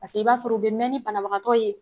Paseke e b'a sɔrɔ o be mɛ ni banabagatɔ ye